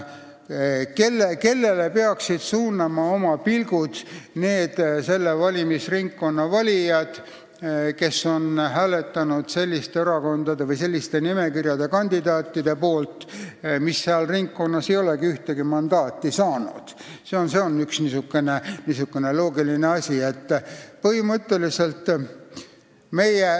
Kellele peaksid suunama oma pilgud need selle valimisringkonna valijad, kes on hääletanud selliste nimekirjade kandidaatide poolt, mis seal ringkonnas ei olegi ühtegi mandaati saanud?